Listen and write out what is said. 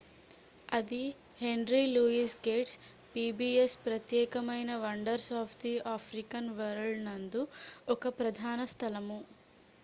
అది henry louis gates' pbs ప్రత్యేకమైన wonders of the African world నందు ఒక ప్రధాన స్థలము